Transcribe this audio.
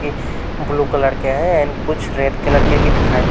ए blue colour के हैं and कुछ रेड कलर के भी दिखा --